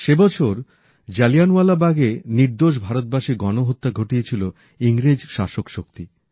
সে বছর জালিয়ানওয়ালাবাগে নির্দোষ ভারতবাসীর গণহত্যা ঘটিয়েছিল ইংরেজ শাসকশক্তি